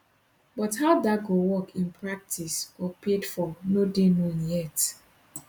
but how dat go work in practice or paid for no dey known yet